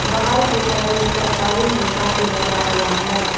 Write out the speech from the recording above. बाहर की साइड एक सरकारी नलका भी लगा हुआ है।